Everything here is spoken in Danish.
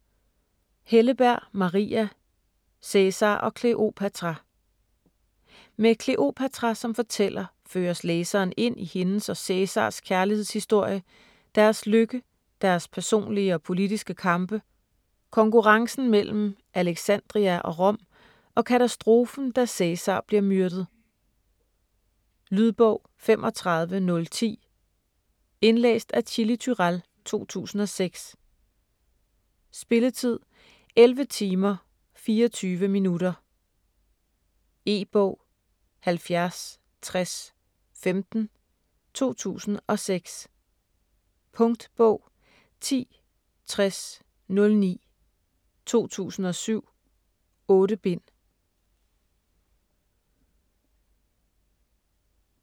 Helleberg, Maria: Cæsar og Kleopatra Med Kleopatra som fortæller føres læseren ind i hendes og Cæsars kærlighedshistorie, deres lykke, deres personlige og politiske kampe, konkurrencen mellem Alexandria og Rom, og katastrofen, da Cæsar bliver myrdet. Lydbog 35010 Indlæst af Chili Turèll, 2006. Spilletid: 11 timer, 24 minutter. E-bog 706015 2006. Punktbog 106009 2007. 8 bind.